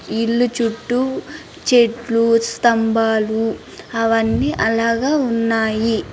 ఈ ఇల్లు చుట్టూ చెట్లు స్తంబాలు అవన్నీ అలాగ ఉన్నాయి.